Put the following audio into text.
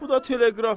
Bu da teleqraf.